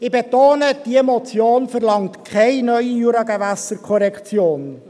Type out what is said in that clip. Ich betone: Diese Motion verlangt keine neue Juragewässerkorrektion.